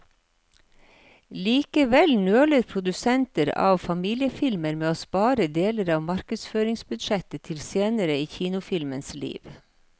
Likevel nøler produsenter av familiefilmer med å spare deler av markedsføringsbudsjettet til senere i kinofilmens liv.